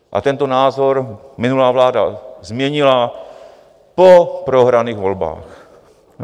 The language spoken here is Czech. A tento názor minulá vláda změnila po prohraných volbách.